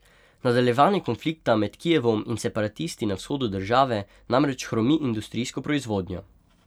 Nadaljevanje konflikta med Kijevom in separatisti na vzhodu države namreč hromi industrijsko proizvodnjo.